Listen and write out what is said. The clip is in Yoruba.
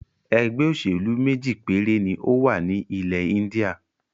ẹgbẹ́-òsèlú méjì péré ni ó wà ní ilẹ̀-Íńdíà.